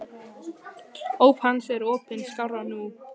Óp hans er opin skárra nú.